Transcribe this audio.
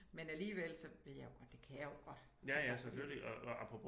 Men alligevel så ved jeg jo godt at det kan jeg jo godt altså